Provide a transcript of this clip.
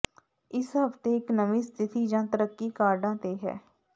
ਇਸ ਹਫਤੇ ਇੱਕ ਨਵੀਂ ਸਥਿਤੀ ਜਾਂ ਤਰੱਕੀ ਕਾਰਡਾਂ ਤੇ ਹੈ